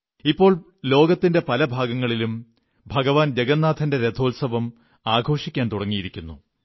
ഇപ്പോൾ ലോകത്തിന്റെ പല ഭാഗങ്ങളിലും ഭഗവാൻ ജഗന്നാഥന്റെ രഥോത്സവം ആഘോഷിക്കാൻ തുടങ്ങിയിരിക്കുന്നു